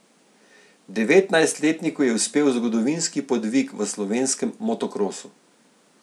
Devetnajstletniku je uspel zgodovinski podvig v slovenskem motokrosu.